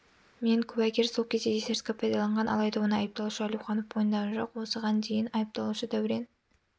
мен куәгер сол кезде есірткі пайдаланған алайда оны айыпталушы әлеуханов мойындаған жоқ осыған дейін айыпталушы дәурен